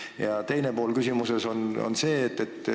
Ja nüüd teine pool küsimusest.